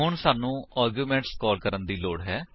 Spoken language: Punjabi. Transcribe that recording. ਹੁਣ ਸਾਨੂੰ ਆਰਗਿਉਮੇਂਟ ਕਾਲ ਕਰਨ ਦੀ ਲੋੜ ਹੈ